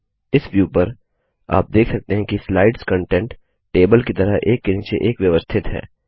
इस व्यू में आप देख सकते हैं कि स्लाइड्स कन्टेंट टेबल की तरह एक के नीचे एक व्यवस्थित हैं